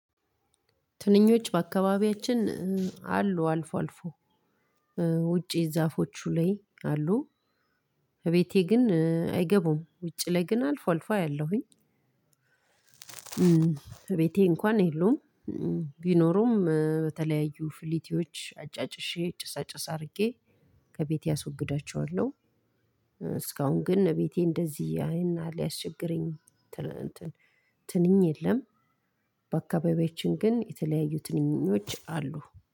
ትንኞች በአካባቢያችን አሉ አልፎ አልፎ ውጪ ዛፎቹ ላይ አሉ። እቤቴ ግን አይገቡም ውጪ ላይ ግን አልፎ አልፎ አያለሁኝ። እቤቴ እንኳን የሉም። ቢኖሩም በተለያዩ ፍሊቲዎች አጫጭሼ ጭስ አጭስ አድርጌ ከቤቴ አስወግዳቸዋለሁ። እስካሁን ግን እቤቴ ያን ያህል ያስቸገረኝ እንትን ትንኝ የለም። በአካባቢያችን ግን የተለያዩ ትንኞች አሉ